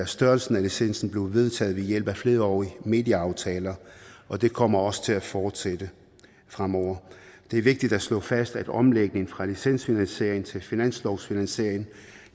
størrelsen af licensen blevet vedtaget ved hjælp af flerårige medieaftaler og det kommer også til at fortsætte fremover det er vigtigt at slå fast at omlægningen fra licensfinansiering til finanslovsfinansiering